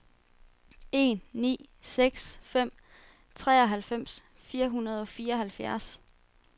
en ni seks fem treoghalvfems fire hundrede og fireoghalvfjerds